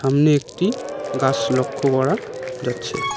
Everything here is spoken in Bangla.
সামনে একটি গাছ লক্ষ করা যাচ্ছে।